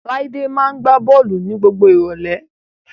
Láídé máa gbá bọ́ọ̀lù ní gbogbo ìrọ̀lẹ́